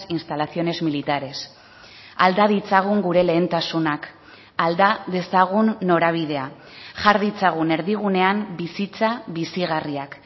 instalaciones militares alda ditzagun gure lehentasunak alda dezagun norabidea jar ditzagun erdigunean bizitza bizigarriak